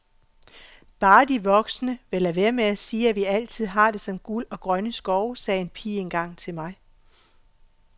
Bare de voksne vil lade være med at sige, at vi altid har det som guld og grønne skove, sagde en pige engang til mig.